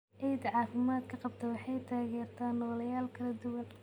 Ciidda caafimaadka qabta waxay taageertaa nooleyaal kala duwan.